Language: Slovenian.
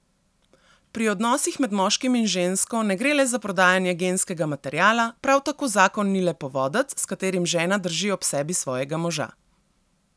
Pri odnosih med moškim in žensko ne gre le za predajanje genskega materiala, prav tako zakon ni le povodec, s katerim žena drži ob sebi svojega moža.